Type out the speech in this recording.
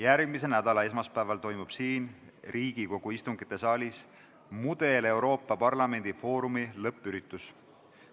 Järgmise nädala esmaspäeval toimub siin, Riigikogu istungite saalis Mudel – Euroopa Parlamendi foorumi lõppüritus.